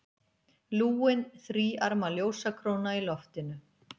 Lúin, þríarma ljósakróna í loftinu.